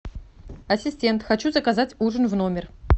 ассистент хочу заказать ужин в номер